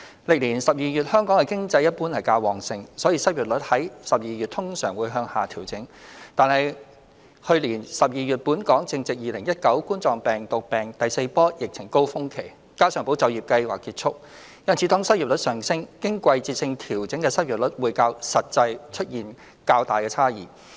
歷年12月香港的經濟一般較旺盛，所以失業率在12月通常會向下調整；但是去年12月本港正值2019冠狀病毒病第四波疫情高峰期，加上"保就業"計劃結束，因此當失業率上升，經季節性調整的失業率會較實際出現較大差異。